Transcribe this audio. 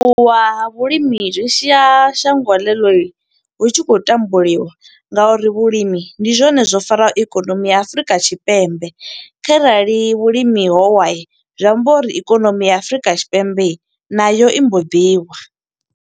U ṱuwa ha vhulimi zwi sia shango ḽe ḽo hu tshi khou tambuliwa, nga uri vhulimi ndi zwone zwo faraho ikonomi ya Afurika Tshipembe. Kharali vhulimi howa, zwi amba uri ikonomi ya Afurika Tshipembe nayo imbo ḓi wa.